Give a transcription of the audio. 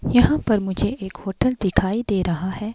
यहां पर मुझे एक होटल दिखाई दे रहा है।